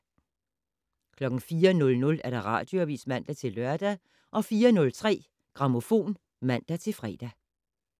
04:00: Radioavis (man-lør) 04:03: Grammofon (man-fre)